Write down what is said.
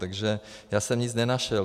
Takže já jsem nic nenašel.